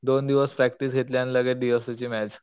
दोन दिवस प्रॅक्टिस घेतली आणि लगेच डी ओ सी ची मॅच.